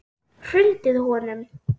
Hrundið honum?